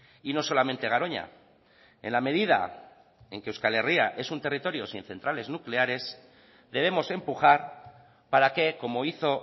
y no solamente garoña en la medida en que euskal herria es un territorio sin centrales nucleares debemos empujar para que como hizo